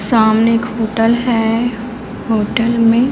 सामने एक होटल है होटल में--